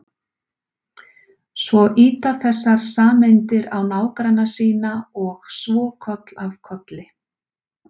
Svo ýta þessar sameindir á nágranna sína og svo koll af kolli.